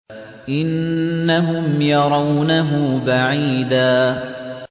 إِنَّهُمْ يَرَوْنَهُ بَعِيدًا